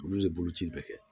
Olu ye boloci bɛɛ kɛ